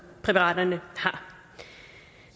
præparaterne har